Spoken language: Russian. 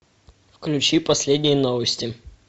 включи последние новости